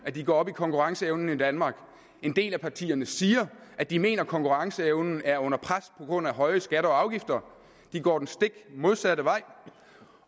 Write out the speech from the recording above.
at de går op i konkurrenceevnen i danmark og en del af partierne siger at de mener at konkurrenceevnen er under pres på grund af høje skatter og afgifter går den stik modsatte vej